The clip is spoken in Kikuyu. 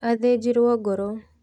Athĩjirwo ngoro.